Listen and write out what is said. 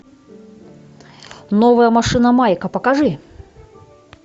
новая машина майка покажи